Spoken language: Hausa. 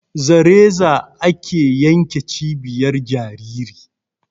Za reza ake yanke cibiyar jajiri